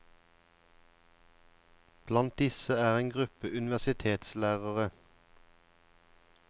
Blant disse er en gruppe universitetslærere.